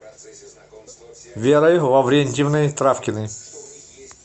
верой лаврентьевной травкиной